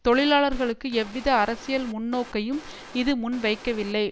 தொழிலாளர்களுக்கு எவ்வித அரசியல் முன்னோக்கையும் இது முன்வைக்கவில்லை